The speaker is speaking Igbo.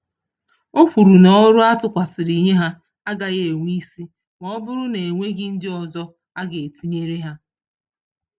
Okwuru na, ọrụ atụkwasịrị nye ha, agaghị enwe ísì, mọbụrụ na enweghị ndị ọzọ aga etinyere ha